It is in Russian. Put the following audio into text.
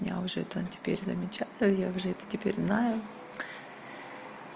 я уже это теперь замечаю я уже это теперь знаю